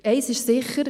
Eins ist sicher: